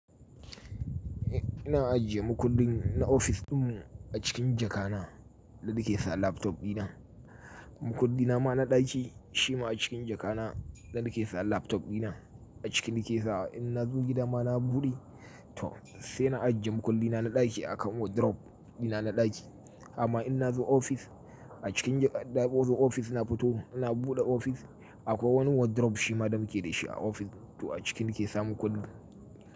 Ina ajiye makullin na ofis ɗin mu a cikin jaka na, da na ke sa laptop ɗina. Makulli na ma na ɗaki shi ma a cikin jaka na da ke sa laptop ɗina. A ciki na ke sawa in na zo gida ma na buɗe, to sai na ajiye makulli na na ɗaki a kan wardrobe dina na ɗaki. Amma in na zo ofis a cikin, daɓo zo ofis na fito, ina buɗe ofis akwai wani wardrobe shi ma da muke da shi a ofis. To a ciki na ke sa makulli.